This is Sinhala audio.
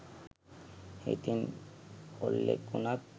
හිතින් කොල්ලෙක් උනත්